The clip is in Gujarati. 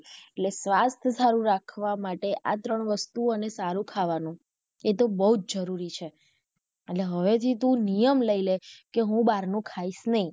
એટલે સ્વાસ્થ્ય સારું રાખવું માટે આ ત્રણ વસ્તુ અને સારું ખાવાનું એતો બૌજ જરૂરી છે એટલે હવે થી તું નિયમ લઇ લે કે હું બહાર નું ખાઇશ નહિ.